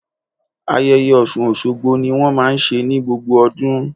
Ayẹyẹ Ọ̀ṣun Òṣogbo ni wón máa ń ṣe ní gbogbo ọdún.